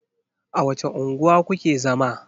A wace unguwa ku ke zama?